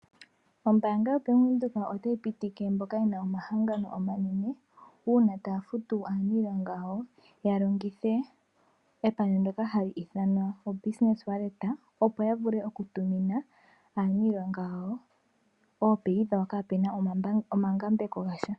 Ombaanga yo Bank Windhoek otayi pitike mboka yena omahangano omanene uuna taya futu aaniilonga yawo ya longithe epandja ndyoka hali ithanwa o Business wallet opo ya vule oku tu mina aanilonga yawo oofuto dhawo kapena omangambeko gasha.